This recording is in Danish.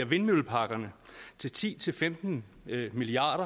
vindmølleparkerne til ti til femten milliard